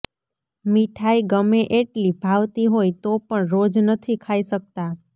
મીઠાઈ ગમે એટલી ભાવતી હોય તો પણ રોજ નથી ખાઈ શકતા